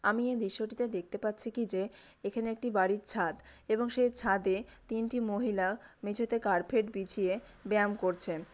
আমি এই দৃশ্যটিতে দেখতে পাচ্ছি কি যে এখানে একটি বাড়ির ছাদ এবং সেই ছাদে তিনটি মহিলা মেঝেতে কার্পেট বিছিয়ে ব্যায়াম করছেন।